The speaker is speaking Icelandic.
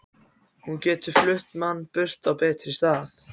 Hún getur flutt mann burt á betri stað.